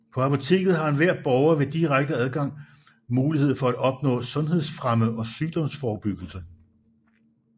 På apoteket har enhver borger ved direkte adgang mulighed for at opnå sundhedsfremme og sygdomsforebyggelse